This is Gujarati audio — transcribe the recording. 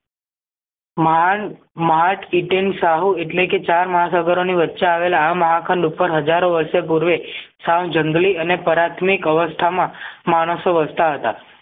મહાન માર્ટ ઈંટેં શાહુ એટલેકે ચાર મહાસાગરો ની વચ્ચે આવેલા આ મહા ખંડ ઉપર હજારો વર્ષે પૂર્વે સંજન્ગલી અને પ્રાથમિક અવસ્થામાં માણસો વસતા હતા